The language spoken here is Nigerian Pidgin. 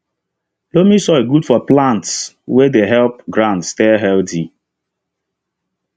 loamy soil good for plants way dey help ground stey healthy